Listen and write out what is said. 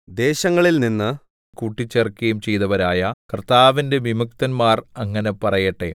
ദേശങ്ങളിൽനിന്ന് കൂട്ടിച്ചേർക്കുകയും ചെയ്തവരായ കർത്താവിന്റെ വിമുക്തന്മാർ അങ്ങനെ പറയട്ടെ